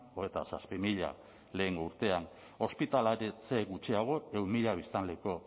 hogeita zazpi mila lehengo urtean ospitaleratze gutxiago ehun mila biztanleko